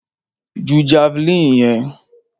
Ju javeline yẹn!